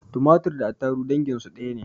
Tumatir da attaruhu danginsu ɗaya ne